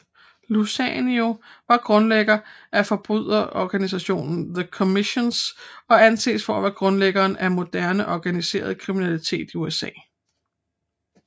Luciano var grundlægger af forbryderorganisationen The Commission og anses at være grundlæggeren af moderne organiseret kriminalitet i USA